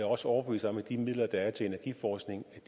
også overbevist om at de midler der er til energiforskning